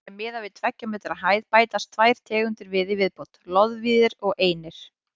Sé miðað við tveggja metra hæð bætast tvær tegundir við í viðbót: loðvíðir og einir.